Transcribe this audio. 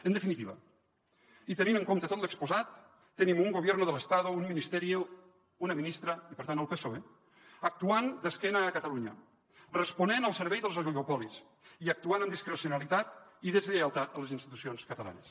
en definitiva i tenint en compte tot l’exposat tenim un gobierno del estado un ministerio una ministra i per tant el psoe actuant d’esquena a catalunya responent al servei dels oligopolis i actuant amb discrecionalitat i deslleialtat a les institucions catalanes